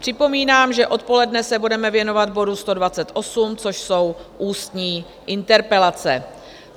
Připomínám, že odpoledne se budeme věnovat bodu 128, což jsou ústní interpelace.